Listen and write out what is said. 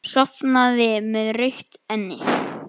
Sofnaði með rautt enni.